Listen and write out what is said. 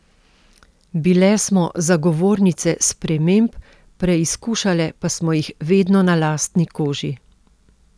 Bile smo zagovornice sprememb, preizkušale pa smo jih vedno na lastni koži.